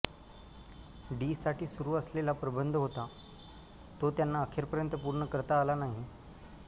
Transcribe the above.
D साठी सुरू असलेला प्रबंध होता तो त्यांना अखेरपर्यंत पूर्ण करता आला नाही